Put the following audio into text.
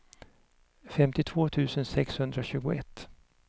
femtiotvå tusen sexhundratjugoett